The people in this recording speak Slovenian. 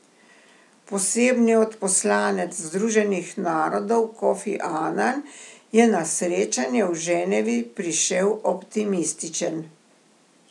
Posebni odposlanec Združenih narodov Kofi Anan je na srečanje v Ženevi prišel optimističen.